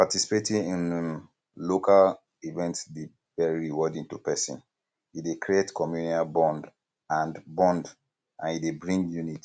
participating in um local event dey very rewarding to person um e dey create communal bond um and bond um and e dey bring unity